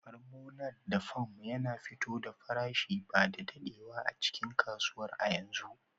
Farmonar da Farm yana fito da farashin ba da daɗewa a cikin kasuwar a yanzu